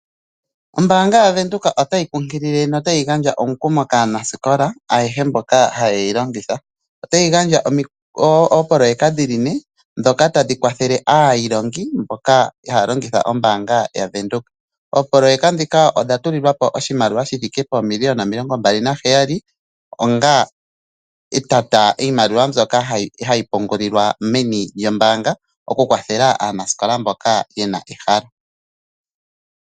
Ombanga yaVenduka otayi kunkilile notayi gandja omukumo kaanasikola ayehe mboka hayeyi longitha. Otayi gandja opoloyeka dhiline dhoka tadhi kwathele aayilongi mboka haalongitha ombanga yaVenduka. Opoloyeka dhika odha tulilwapo oshimaliwa shithike pomillion omilongo mbali naheyali oga iimaliwa mboyaka hayi pungulilwa meni lyombanga oku kwathela aanasikola mboka yena ehalo.